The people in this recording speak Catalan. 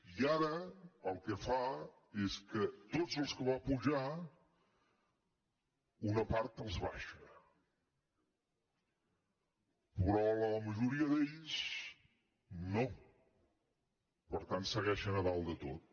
i ara el que fa és que de tots els que va apujar una part els abaixa però la majoria d’ells no per tant segueixen a dalt de tot